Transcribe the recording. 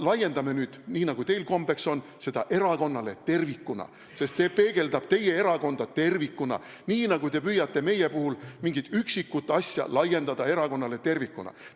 Laiendame nüüd, nii nagu teil kombeks on, seda erakonnale tervikuna – see peegeldab teie erakonda tervikuna, nii nagu te püüate meie puhul mingit üksikut asja laiendada erakonnale tervikuna!